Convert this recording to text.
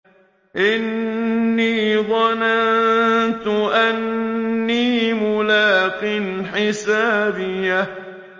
إِنِّي ظَنَنتُ أَنِّي مُلَاقٍ حِسَابِيَهْ